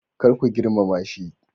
Kar ku girmama shi.